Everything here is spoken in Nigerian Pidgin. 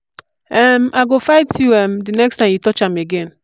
um i go fight you um the next time you touch am again.